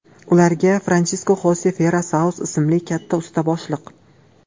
Ularga Fransisko Xose Fera Sauz ismli katta usta boshliq.